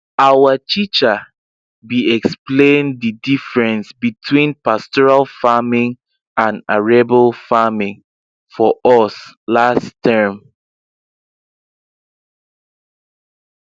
our teacher be explain the diffrence between pastoral farming and arable farming for us last term